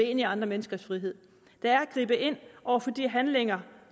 ind i andre menneskers frihed det er at gribe ind over for de handlinger